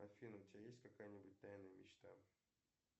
афина у тебя есть какая нибудь тайная мечта